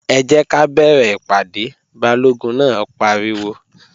Ẹ jẹ́ ká bẹ̀rẹ̀ ìpàdé! Balógun náà pariwo